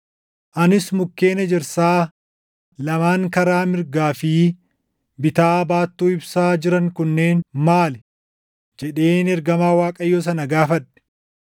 Anis, “Mukkeen ejersaa lamaan karaa mirgaa fi bitaa baattuu ibsaa jiran kunneen maali?” jedheen ergamaa Waaqayyoo sana gaafadhe.